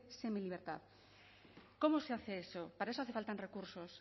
semilibertad cómo se hace eso para eso hacen falta recursos